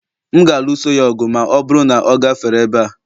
M ga-alụso ya ọgụ ma ọ bụrụ na ọ gafere ebe a